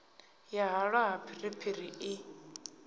ya halwa ha zwipiri i